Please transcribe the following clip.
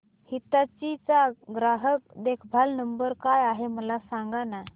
हिताची चा ग्राहक देखभाल नंबर काय आहे मला सांगाना